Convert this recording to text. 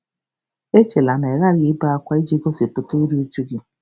Echela na ị ghaghị ibe ákwá iji gosipụta iru újú gị.